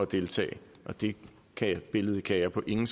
deltage det billede kan jeg på ingen